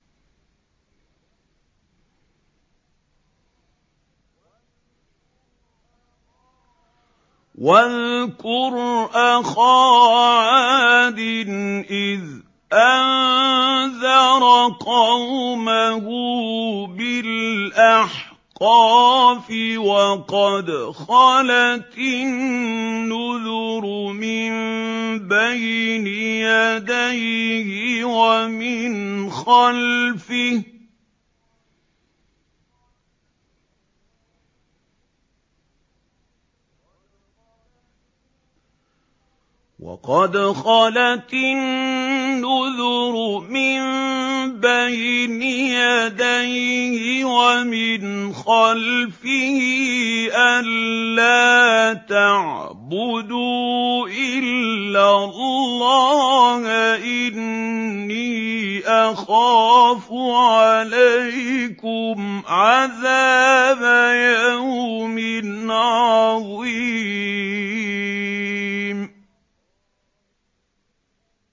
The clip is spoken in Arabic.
۞ وَاذْكُرْ أَخَا عَادٍ إِذْ أَنذَرَ قَوْمَهُ بِالْأَحْقَافِ وَقَدْ خَلَتِ النُّذُرُ مِن بَيْنِ يَدَيْهِ وَمِنْ خَلْفِهِ أَلَّا تَعْبُدُوا إِلَّا اللَّهَ إِنِّي أَخَافُ عَلَيْكُمْ عَذَابَ يَوْمٍ عَظِيمٍ